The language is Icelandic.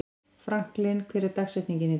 Franklin, hver er dagsetningin í dag?